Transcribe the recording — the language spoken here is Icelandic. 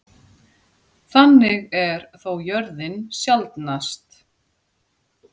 Þannig er þó jörðin sjaldnast.